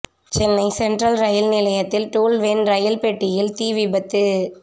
Chennai central ரயில் நிலையத்தில் tool van ரயில் பெட்டியில் தீ விபத்து